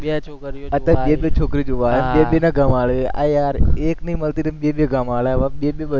બે છોકરીઓ, બે બે છોકરીઓ જોવા આવે, અરે યાર એક નઈ મળતી તો બે-બે ક્યાં મળે હવે બે બે